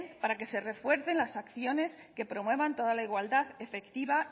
para que se refuercen las acciones que promuevan toda la igualdad efectiva